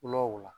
Kulɔw la